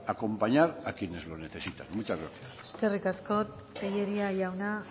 acompañar a quienes lo necesitan muchas gracias eskerrik asko tellería jauna